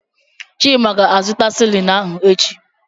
Chima ga-azụta silini ahụ echi.